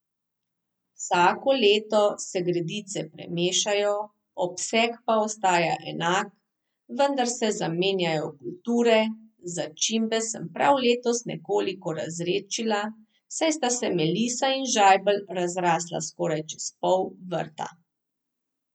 Vsako leto se gredice premešajo, obseg pa ostaja enak, vendar se zamenjajo kulture, začimbe sem prav letos nekoliko razredčila, saj sta se melisa in žajbelj razrasla skoraj čez pol vrta.